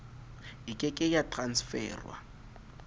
e ke ke ya transferwa